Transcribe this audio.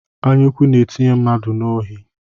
anyaụkwụ na-etinye mmadụ n'ohi